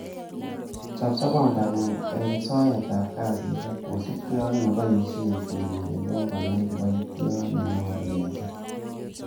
Chob sobengung en soetab kasisiek, kosiibge ak neboishie sirik eleo konai kiboitiot nenyolu kesir.